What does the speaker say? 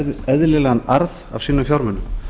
eðlilegan arð af sínum fjármunum